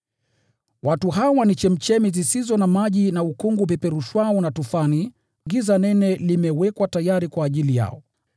Watu hawa ni chemchemi zisizo na maji, na ukungu upeperushwao na tufani. Giza nene limewekwa tayari kwa ajili yao.